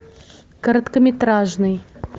короткометражный